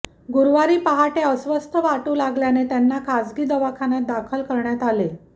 गुरुवारी पहाटे अस्वस्थ वाटू लागल्याने त्यांना खासगी दवाखान्यात दाखल करण्यात आले